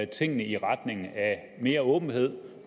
tingene i retning af mere åbenhed